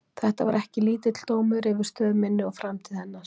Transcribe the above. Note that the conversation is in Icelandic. Þetta var ekki lítill dómur yfir stöð minni og framtíð hennar!